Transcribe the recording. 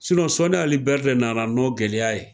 Sinɔ soni ali bɛri de nana n'o gɛlɛya ye